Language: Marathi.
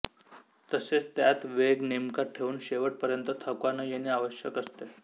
तसेच त्यात वेग नेमका ठेऊन शेवट पर्यंत थकवा न येणे आवशयक असते